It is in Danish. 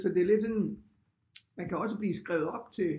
Det er lidt sådan man kan også blive skrevet op til